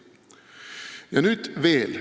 Ja nüüd veel.